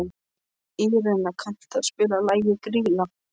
Írena, kanntu að spila lagið „Grýla“?